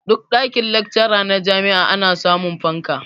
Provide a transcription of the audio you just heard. Duk ɗakin-lacca na jami'a ana samun fanka.